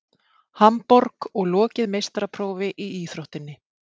Hamborg og lokið meistaraprófi í íþróttinni.